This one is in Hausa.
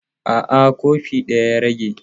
A'a, kofi ɗaya ya rage.